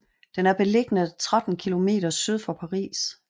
Den er beliggende 13 km syd for Paris